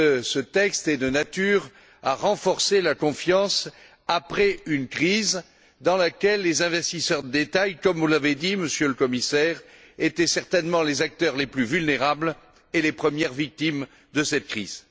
Ce texte est de nature à renforcer la confiance après une crise dans laquelle les investisseurs de détail, comme vous l'avez dit, Monsieur le Commissaire, étaient certainement les acteurs les plus vulnérables et les premières victimes de cette crise.